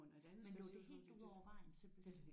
Men lå det helt ud over vejen simpelthen?